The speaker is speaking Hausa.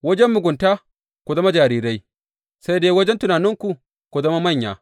Wajen mugunta ku zama jarirai, sai dai wajen tunaninku, ku zama manya.